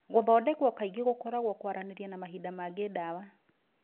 Gũthondekwo kaingĩ gũkoragwo kwaranĩria na mahinda mangĩ dawa.